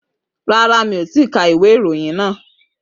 Rárá, mi ò tíì ka ìwé ìròyìn náà